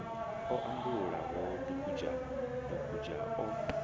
o ambulula dugudzha dugudzha o